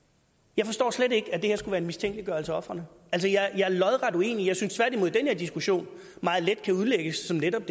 jeg forstår slet ikke at det her skulle være en mistænkeliggørelse af ofrene altså jeg er lodret uenig jeg synes tværtimod den her diskussion meget let kan udlægges som netop